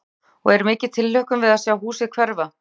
Helga: Og er mikil tilhlökkun við að sjá húsið hverfa?